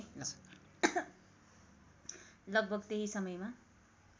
लगभग त्यही समयमा